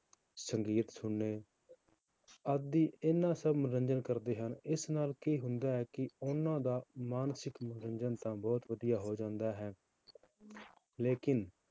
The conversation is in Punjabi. ਸੰਗੀਤ ਸੁਣਨੇ ਆਦਿ ਇਹਨਾਂ ਸਭ ਮਨੋਰੰਜਨ ਕਰਦੇ ਹਨ, ਇਸ ਨਾਲ ਕੀ ਹੁੰਦਾ ਹੈ ਕਿ ਉਹਨਾਂ ਦਾ ਮਾਨਸਿਕ ਮਨੋਰੰਜਨ ਤਾਂ ਬਹੁਤ ਵਧੀਆ ਹੋ ਜਾਂਦਾ ਹੈ ਲੇਕਿੰਨ